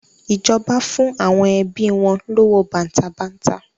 Ìjọba fún àwọn ẹbi wọn lówó bàǹtàbanta.